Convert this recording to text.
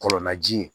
Kɔlɔnna ji ye